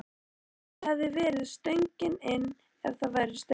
Það hefði verið stöngin inn ef það væri stöng!